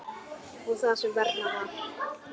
Og það sem verra var.